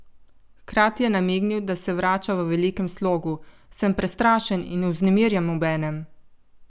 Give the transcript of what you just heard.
Hkrati je namignil, da se vrača v velikem slogu: "Sem prestrašen in vznemirjen obenem.